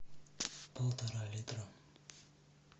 полтора литра